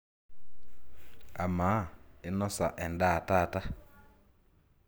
amaa inosa endaa taata?